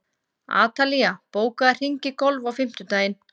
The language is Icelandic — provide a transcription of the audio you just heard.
Atalía, bókaðu hring í golf á fimmtudaginn.